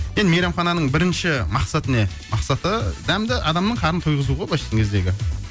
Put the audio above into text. енді мейрамхананың бірінші мақсаты не мақсаты дәмді адамның қарынын тойғызу ғой былайша айтқан кездегі